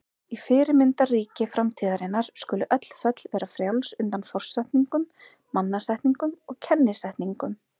Í fyrirmyndarríki framtíðarinnar skulu öll föll vera frjáls undan forsetningum, mannasetningum og kennisetningum.